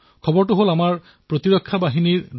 এই খবৰটো আছিল আমাৰ সুৰক্ষা বাহিনীৰ